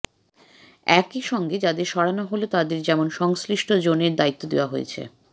একই সঙ্গে যাঁদের সরানো হল তাঁদের যেমন সংশ্লিষ্ট জোনের দায়িত্ব দেওয়া হয়েছে